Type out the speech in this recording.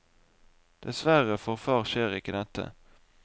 Dessverre for far skjer ikke dette.